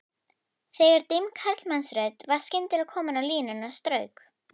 Þegar dimm karlmannsrödd var skyndilega komin á línuna strauk